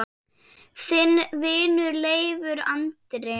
Þinn vinur, Leifur Andri.